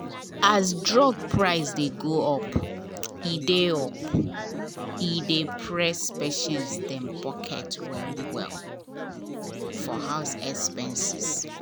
as drug price dey go up e dey up e dey press patients dem pocket well-well for house expenses